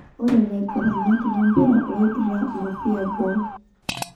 Ore laiguranak lempira loidura nkwapi eboo.